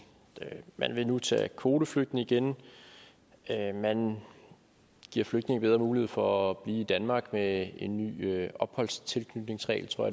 man vil nu modtage kvoteflygtninge igen man giver flygtninge bedre mulighed for at blive i danmark med en ny opholds tilknytningsregel tror